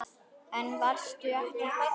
En varstu ekki hræddur?